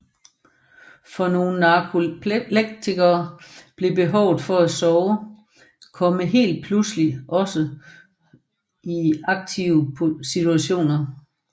For nogle narkoleptikere kan behovet for at sove komme helt pludseligt også i aktive situationer